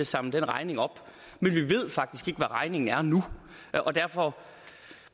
samle den regning op men vi ved faktisk hvad regningen er nu og derfor